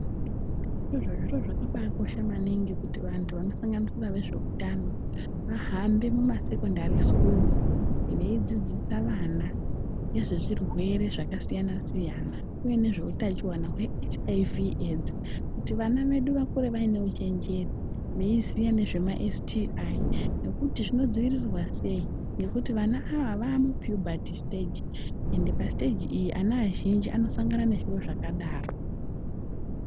Zviro zvakabaakosha maningi kuti vantu vanosanganisira nezveutano vahambe muma sekondari sikuruzi veidzidzisa vana ngezve zvirwere zvakasiyanasiyana uye nezve utachiwana hwe Shuramatongo kuti vana vedu vakure vaine uchenjeri veiziya ngezve maSTI nekuti zvinodziirirwa sei nekuti vana ava vava mupiyubhati siteji ende pasiteji iyi vana vazhinji vanosangana nezviro zvakadaro.